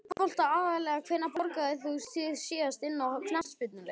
Handbolta aðallega Hvenær borgaðir þú þig síðast inn á knattspyrnuleik?